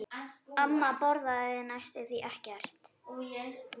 Amma borðaði næstum ekkert.